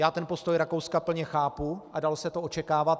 Já ten postoj Rakouska plně chápu a dalo se to očekávat.